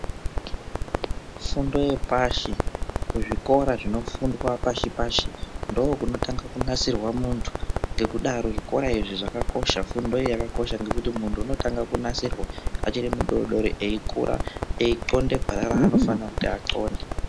Fundi yepashi kuzvikora zvinofundwa pashi pashi ndokunotanga kunasirwa muntu nekudaro zvikora izvi zvakakosha, fundo iyi yakakosha ngekuti muntu unotanga kunasirwa achiri kudodori eikura eihlonde ngwara ranofanira kuti ahlonde.